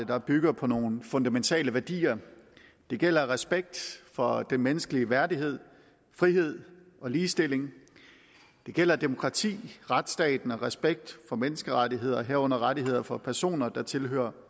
der bygger på nogle fundamentale værdier det gælder respekt for den menneskelige værdighed frihed og ligestilling det gælder demokrati retsstaten og respekt for menneskerettighederne herunder rettigheder for personer der tilhører